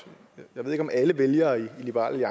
jeg ved ikke om alle vælgere i liberal